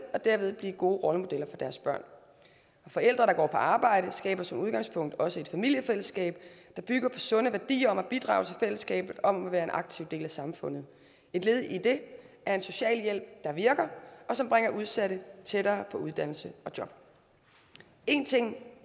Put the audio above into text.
og derved blive gode rollemodeller for deres børn og forældre der går på arbejde skaber som udgangspunkt også et familiefællesskab der bygger på sunde værdier om at bidrage til fællesskabet om at være en aktiv del af samfundet et led i det er en socialhjælp der virker og som bringer udsatte tættere på uddannelse og job en ting